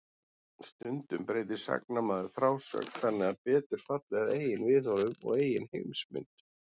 Stundum breytir sagnamaður frásögn þannig að betur falli að eigin viðhorfum og eigin heimsmynd.